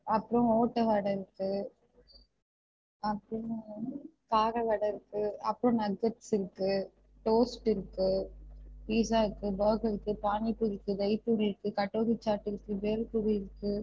அப்பறம் ஒட்ட வடை இருக்கு அப்பறம் வந்து கார வட இருக்கு அப்பறம் nuggets இருக்கு toast இருக்கு pizza இருக்கு burger இருக்கு பானி பூரி இருக்கு தகி பூரி இருக்கு கட்டோரி chat இருக்கு பேல் பூரி இருக்கு